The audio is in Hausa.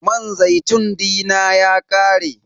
Man zaitun dina ya ƙare.